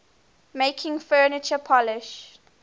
making furniture polish